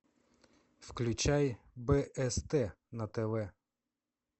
включай бст на тв